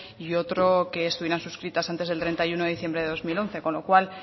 y otro que estuvieran suscritas antes del treinta y uno de diciembre de dos mil once con lo cual